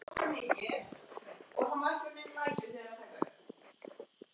Það er kalt.